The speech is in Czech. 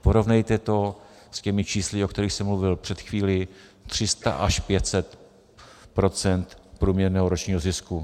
Porovnejte to s těmi čísly, o kterých jsem mluvil před chvílí - 300 až 500 % průměrného ročního zisku.